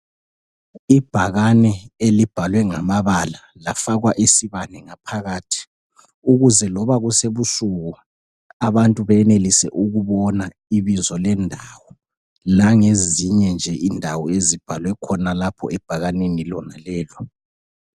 Ibhakane elibhalwe ngamabala lafakwa isibane ngaphakathi ukuze loba kusebusuku abantu beyenelise ukubona ibizo lendawo langezinye nje indawo ezibhalwe khona lapho ebhakanini lona lelo.